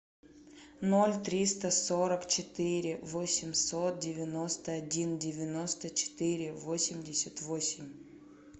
ноль триста сорок четыре восемьсот девяносто один девяносто четыре восемьдесят восемь